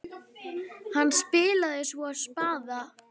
Hann spilaði svo spaða.